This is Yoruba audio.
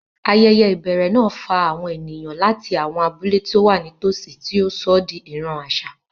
Ayẹyẹ ìbẹ̀rẹ̀ náà fa àwọn ènìyàn láti àwọn abúlé tó wà nítòsí, tí ó sọ ọ́ di ìran àṣà.